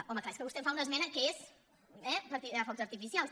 home és clar és que vostè em fa una esmena que és eh per tirar focs artificials